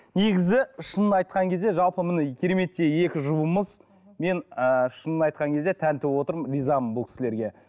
негізі шынын айтқан кезде жалпы міне кереметтей екі жұбымыз мен ы шынын айтқан кезде тәнті болып отырмын ризамын бұл кісілерге